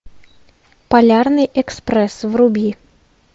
полярный экспресс вруби